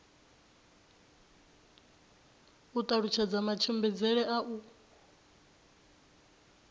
u talutshedza matshimbidzele a u